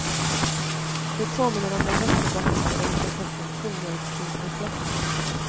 Det påminner om den västerbottniska delikatessen kornmjölsklimp med fläsk.